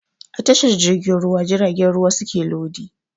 A tashar jirgin ruwa jiragen ruwa suke lodi